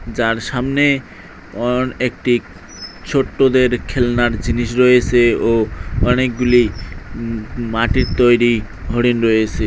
যার সামনে অন একটি ছোট্টদের খেলনার জিনিস রয়েসে ও অনেকগুলি উম-ম মাটির তৈরি হরিণ রয়েসে।